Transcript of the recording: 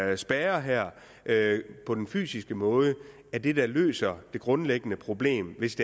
at en spærre her på den fysiske måde er det der løser det grundlæggende problem hvis